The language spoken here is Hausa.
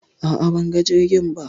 a'a banga jirgin ba